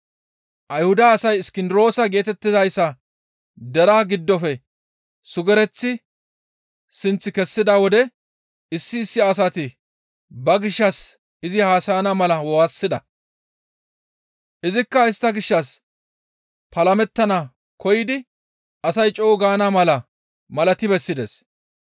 Ayhuda asay Iskindiroosa geetettizayssa deraa giddofe sugereththi sinth kessida wode issi issi asati ba gishshas izi haasayana mala waassida; izikka istta gishshas palamettana koyidi asay co7u gaana mala malati bessides.